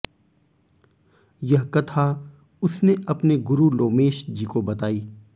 यह कथा उसने अपने गुरु लोमेश जी को बतायी